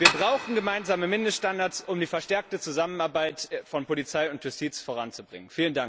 Wir brauchen gemeinsame Mindeststandards um die verstärkte Zusammenarbeit von Polizei und Justiz voranzubringen.